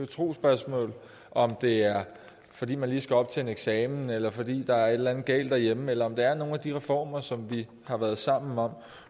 trosspørgsmål om det er fordi man lige skal op til en eksamen eller fordi der er et eller andet galt derhjemme eller om det er nogle af de reformer som vi har været sammen om